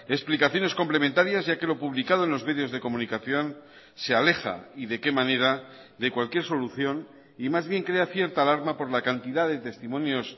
explicaciones complementarias ya que lo publicado en los medios de comunicación se aleja y de qué manera de cualquier solución y más bien crea cierta alarma por la cantidad de testimonios